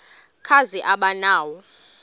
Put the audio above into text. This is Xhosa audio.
kazi aba nawo